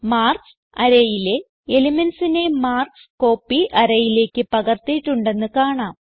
marks arayയിലെ elementsനെ marks copy array യിലേക്ക് പകർത്തിയിട്ടുണ്ടെന്ന് കാണാം